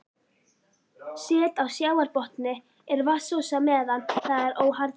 Set á sjávarbotni er vatnsósa meðan það er óharðnað.